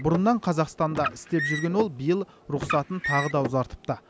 бұрыннан қазақстанда жұмыс істеп жүрген ол биыл рұқсатын тағы да ұзартыпты